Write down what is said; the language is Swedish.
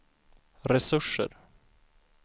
resurser